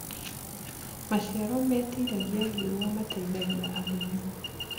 Maĩcĩaro metĩragĩa rĩũa mateĩthagĩa arĩmĩ